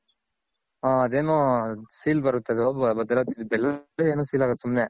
ಹ ಅದೇನೂ seal ಬರುತ್ ಅದು ಭದ್ರಾವತಿ ಬೆಲ್ಲ ನೋ ಏನೋ seal ಆಗುತ್ ಸುಮ್ನೆ.